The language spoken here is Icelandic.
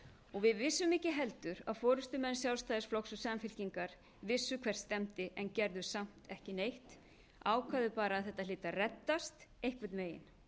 og við vissum ekki heldur að forustumenn sjálfstæðisflokks og samfylkingar vissu hvert stefndi en gerðu samt ekki neitt ákváðu bara að þetta hlyti að reddast einhvern veginn